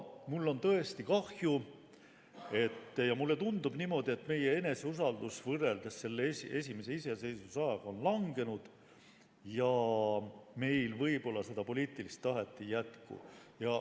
Mul on tõesti kahju, aga mulle tundub niimoodi, et meie eneseusaldus võrreldes esimese iseseisvusajaga on langenud ja meil võib-olla seda poliitilist tahet ei jätku.